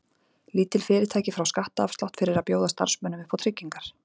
Lítil fyrirtæki fá skattaafslátt fyrir að bjóða starfsmönnum upp á tryggingar.